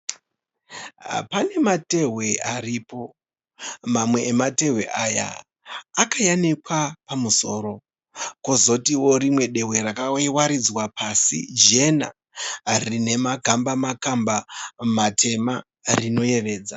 Panenatehwe aripo. Mamwe ematehwe aya akayanikwa pamusoro, kozotiwo rimwe dehwe rakawaridzwa pasi, jena rine makamba makamba matema rinoyevedza.